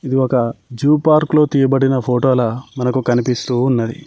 ఇది ఒక జు పార్క్లో తియ్యబడిన ఫోటోల మనకు కనిపిస్తూ ఉన్నది.